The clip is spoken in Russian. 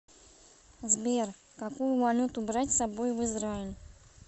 сбер какую валюту брать с собой в израиль